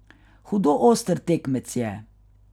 Hudo oster tekmec je.